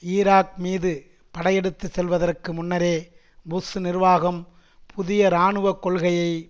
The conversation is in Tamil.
ஈராக் மீது படையெடுத்து செல்வதற்கு முன்னரே புஷ் நிர்வாகம் புதிய இராணுவ கொள்கையை